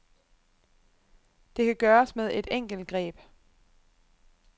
Det kan gøres med et enkelt greb.